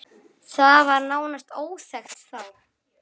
Það var nánast óþekkt þá.